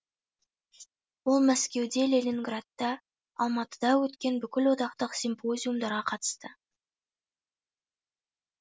ол мәскеуде ленинградта алматыда өткен бүкіл одақтық симпозиумдарға қатысты